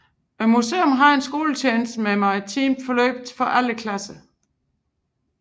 Museet havde en skoletjeneste med maritime forløb for alle klasser